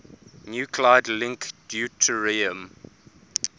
nuclide link deuterium